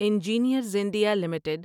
engineers India limited